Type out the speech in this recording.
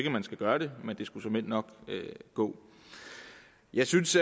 at man skal gøre det men det skulle såmænd nok gå jeg synes